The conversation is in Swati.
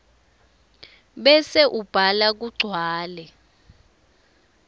bese ubhala kugcwale